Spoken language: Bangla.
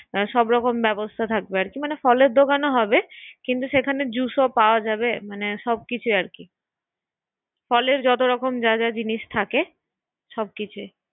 সব রকম ব্যবস্থা থাকবে অরকি মানে ফলের দোকানও হবে, কিন্তু সেখানে জুস পাওয়া যাবে মানে সব কিছুই আরকি, আচ্ছা আচ্ছা, ফলের যত রকম যাহ যাহ জিনিস থাকে আচ্ছা সবকিছুই